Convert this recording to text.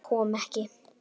Hann kom ekki.